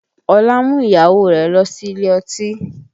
Ọlá mú ìyàwó rẹ̀ lọ sí ilé ọtí